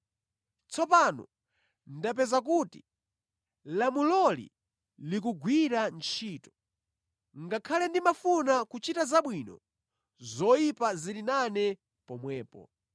Tsono ndapeza kuti lamuloli likugwira ntchito. Ngakhale ndimafuna kuchita zabwino, zoyipa zili nane pomwepo.